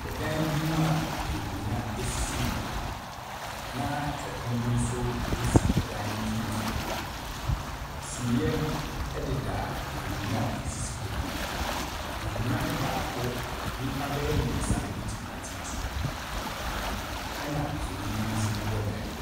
Ɛdan bi mu a nkonnwa sisi mu, na ɛpono bi nso si ɛdan no mfimfini. Sumiiɛ deda nkonnwa a ɛsisi hɔ no mu. Nkonnwa no baako, nnipa bɛyɛ mmeɛnsa na wɔbɛtumi atena so, ɛnna mfonin bi nso bobɔ dan no mu.